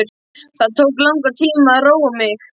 Það tók langan tíma að róa mig.